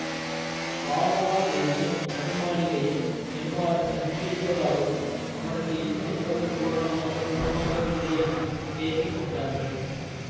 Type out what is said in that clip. வானமாதேவியின் நடுமாளிகையில் நெடுமாறன் தங்கியிருப்பதாகவும் அவனுக்கு இன்னும் உடம்பு பூரணமாகக் குணமாகவில்லையென்றும் பேசி கொண்டார்கள்